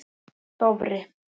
Dofri